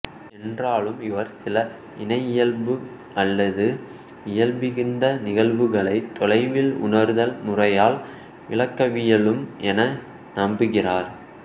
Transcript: என்றாலும் இவர் சில இணையியல்பு அல்லது இயல்பிகந்த நிகழ்வுகளை தொலைவில் உணர்தல் முறையால் விளக்கவியலும் என நம்புகிறார்